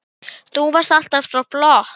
Af hverju ropar maður?